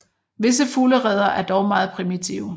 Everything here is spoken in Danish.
Visse fuglereder er dog meget primitive